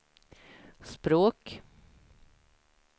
språk